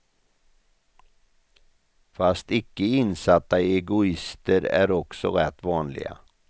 Fast icke insatta egoister är också rätt vanliga.